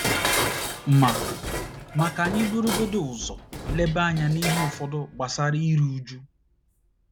* Ma * Ma, ka anyị burugodị ụzọ leba anya n’ihe ụfọdụ gbasara iru uju.